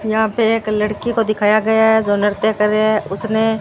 यहां पे एक लड़की को दिखाया गया है जो नृत्य कर री है उसने--